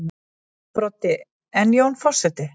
Broddi: En Jón forseti?